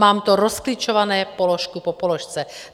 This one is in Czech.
Mám to rozklíčováno položku po položce.